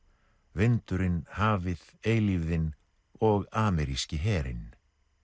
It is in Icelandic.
vindurinn hafið eilífðin og ameríski herinn